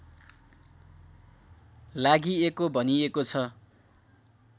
लागिएको भनिएको छ